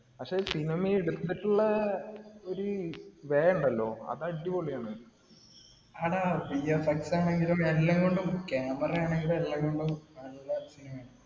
പക്ഷേ cinema എടുത്തിട്ടുള്ള ഒരു way ഉണ്ടല്ലോ. അത് അടിപൊളിയാണ്. എടാ VFX ആണെങ്കിലും, എല്ലാം കൊണ്ടും camera ആണെങ്കിലും എല്ലാം കൊണ്ട് നല്ല